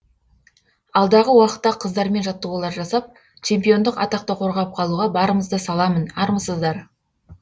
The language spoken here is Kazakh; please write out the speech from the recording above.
алдағы уақытта қыздармен жаттығулар жасап чемпиондық атақты қорғап қалуға барымызды саламын армысыздар